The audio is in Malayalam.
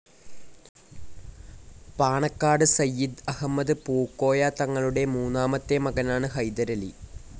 പാണക്കാട് സയ്യിദ് അഹമ്മദ് പൂക്കോയ തങ്ങളുടെ മൂന്നാമത്തെ മകനാണ് ഹൈദരലി.